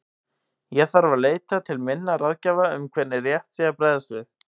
Ég þarf að leita til minna ráðgjafa um hvernig rétt sé að bregðast við.